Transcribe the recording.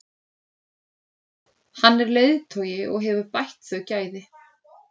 Hann er leiðtogi og hefur bætt þau gæði.